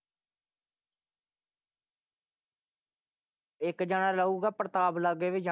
ਇੱਕ ਜਾਣਾ ਰਹੂਗਾ ਪ੍ਰਤਾਪ ਲਾਗੇ ਵੀ ਜਾ,